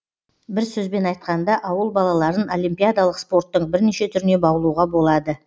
бір сөзбен айтқанда ауыл балаларын олимпиадалық спорттың бірнеше түріне баулуға болады